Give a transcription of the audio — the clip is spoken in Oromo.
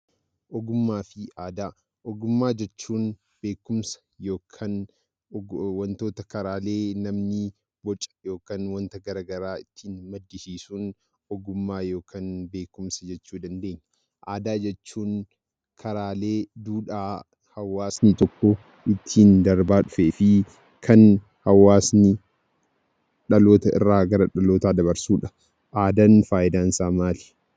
Ogummaa fi aadaa. Ogummaa jechuun beekumsa yookiin wantoota namni karaalee garaa garaa bocu yookiin maddisiisuun ogummaa yookiin beekumsa jechuu ni dandeenya. Aadaa jechuun karaalee duudhaa hawwaasni tokkoo ittiin darbaa dhufee fi kan hawwaasni dhaloota irraa gara dhalootaatti dabarsuu dha. Aadaan faayidaan isaa maa?